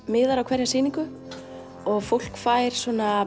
miðar á hverja sýningu og fólk fær